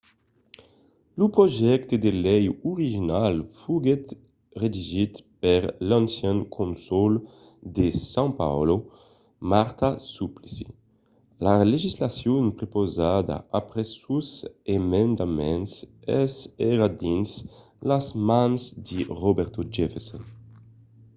lo projècte de lei original foguèt redigit per l'ancian cònsol de são paulo marta suplicy. la legislacion prepausada après sos emendaments es ara dins las mans de roberto jefferson